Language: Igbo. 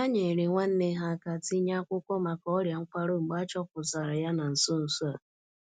Ha nyeere nwanne ha aka tinye akwụkwọ maka ọria nkwarụ mgbe a chọpụtara ya na nso nso a.